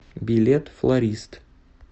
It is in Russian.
билет флорист